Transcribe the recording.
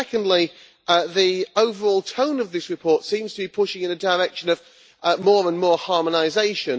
Secondly, the overall tone of this report seems to be pushing in a direction of more and more harmonisation.